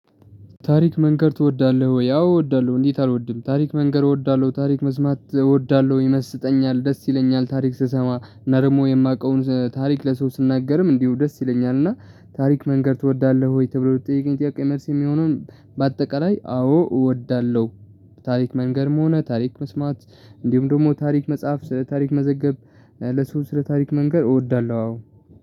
ታሪክ መንገር ትወዳለህ ወይ? አዎ እወዳለሁ እንዴት አልወድም። ታሪክ መንገር እወዳለሁ ታሪክ መስማት እወዳለሁ ይመስጠኛል ደስ ይለኛል። ታሪክ ስሰማ እና ደግሞ የማውቀውን ታሪክ ለሰው ስናገርም እንዲሁ ደስ ይለኛል። እና ታሪክ መንገር ትወዳለህ ወይ? ተብሎ ለተጠየቀኝ ጥያቄ መልስ የሚሆነው በአጠቃላይ አዎ እወዳለሁ። ታሪክ መንገርም ሆነ ታሪክ መስማት እንዲሁም ደግሞ ታሪክ መጽሐፍ ታሪክ መዘገብ ለሰው ስለ ታሪክ መንገር እወዳለሁ። አዎ